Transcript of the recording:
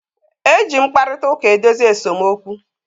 E ji mkparịtaụka edozi esemokwu.